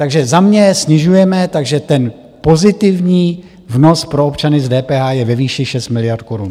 Takže za mě snižujeme, takže ten pozitivní vnos pro občany z DPH je ve výši 6 miliard korun.